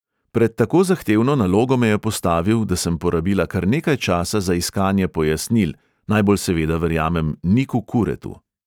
Pred tako zahtevno nalogo me je postavil, da sem porabila kar nekaj časa za iskanje pojasnil, najbolj seveda verjamem niku kuretu.